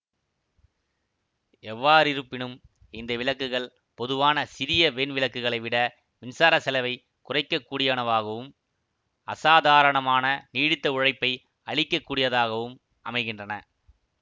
எவ்வாறிருப்பினும் இந்த விளக்குகள் பொதுவான சிறியவெண் விளக்குகளை விட மின்சார செலவைக் குறைக்கக் கூடியவனவாகவும் அசாதாரணமான நீடித்த உழைப்பை அளிக்க கூடியதாகவும் அமைகின்றன